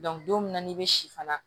don min na n'i bɛ si fana